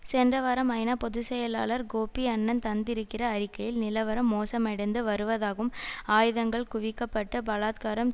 சென்ற வாரம்குவிக்கப்பட்டு பலாத்காரம் தீவிரப்படுத்தப்பட்டிருப்பதாகவும்